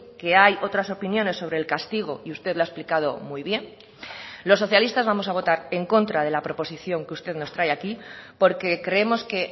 que hay otras opiniones sobre el castigo y usted lo ha explicado muy bien los socialistas vamos a votar en contra de la proposición que usted nos trae aquí porque creemos que